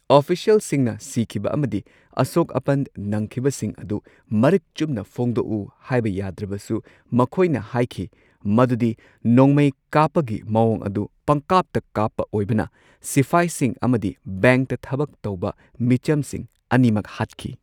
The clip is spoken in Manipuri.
ꯑꯣꯐꯤꯁꯤꯑꯦꯜꯁꯤꯡꯅ ꯁꯤꯈꯤꯕ ꯑꯃꯗꯤ ꯑꯁꯣꯛ ꯑꯄꯟ ꯅꯪꯈꯤꯕꯁꯤꯡ ꯑꯗꯨ ꯃꯔꯤꯛ ꯆꯨꯝꯅ ꯐꯣꯡꯗꯣꯛꯎ ꯍꯥꯢꯕ ꯌꯥꯗ꯭ꯔꯕꯁꯨ, ꯃꯈꯣꯏꯅ ꯍꯥꯢꯈꯤ ꯃꯗꯨꯗꯤ ꯅꯣꯡꯃꯩ ꯀꯥꯞꯄꯒꯤ ꯃꯑꯣꯡ ꯑꯗꯨ ꯄꯪꯀꯥꯞꯇ ꯀꯥꯞꯄ ꯑꯣꯢꯕꯅ ꯁꯤꯐꯥꯢꯁꯤꯡ ꯑꯃꯗꯤ ꯕꯦꯡꯛꯇ ꯊꯕꯛ ꯇꯧꯕ ꯃꯤꯆꯝꯁꯤꯡ ꯑꯅꯤꯃꯛ ꯍꯥꯠꯈꯤ꯫